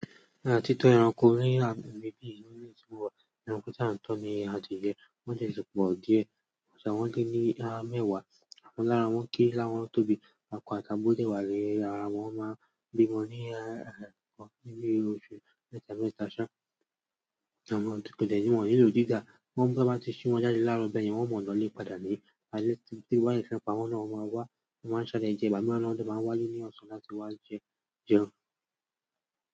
Nípa títọ́ ẹranko ní ibi tí wọ́n ti wà, ẹranko tí a ń tọ́ ni adìẹ, wọ́n ti sì pọ̀ díẹ̀. Wọ́n lé ní mẹ́wàá, àwọn kan lára wọn kere lára wọn tóbí akọ àti abo dẹ̀ wa ni ara wọn, wọ́n máa n bímọ ní oṣù mẹ́ta mẹ́ta ṣá, àwọn tó kò tẹ̀lé mọ̀ nílò jíjà. Tan bá ti ṣi wọ́n jáde láarọ bẹ̀ yẹn, wọn mọ̀ ọ́n lọ lè padà ní àlẹ̀ tí ebi ba dẹ̀ ti n pà wọn náà, wọn máa wá, wọn máa salẹ̀ jẹ, ìgbà mìíràn náà wọn máa ń wá'lé ní ọ̀sán láti wá jẹun.